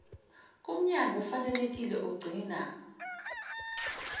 kumnyango ofanelekile ogcina